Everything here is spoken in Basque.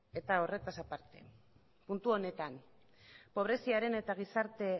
horretaz aparte puntu honetan pobreziaren eta gizarte